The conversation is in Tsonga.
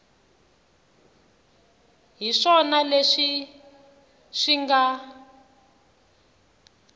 hi swona leswi swi nga